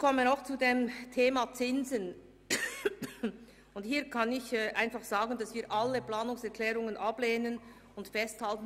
Zum Thema Zinsen: Wir beantragen, dass alle Planungserklärungen abgelehnt werden.